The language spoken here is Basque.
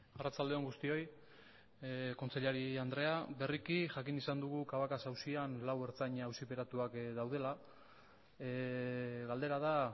arratsalde on guztioi kontseilari andrea berriki jakin izan dugu cabacas auzian lau ertzaina auziperatuak daudela galdera da